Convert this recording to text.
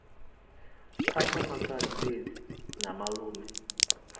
phasa makhadzi fhedzi na malume